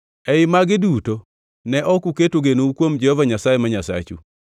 Ei magi duto ne ok uketo genou kuom Jehova Nyasaye ma Nyasachu,